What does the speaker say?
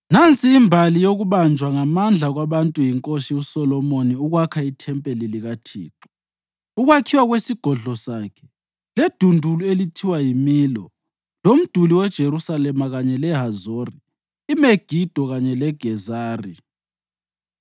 Nansi imbali yokubanjwa ngamandla kwabantu yiNkosi uSolomoni ukwakha ithempeli likaThixo, ukwakhiwa kwesigodlo sakhe, ledundulu elithiwa yiMilo, lomduli weJerusalema kanye leHazori, iMegido kanye leGezeri.